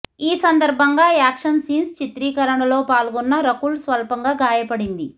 ఈ సందర్భంగా action scenes చిత్రీకరణలో పాల్గొన్న రకుల్ స్వల్పంగా గాయపడింది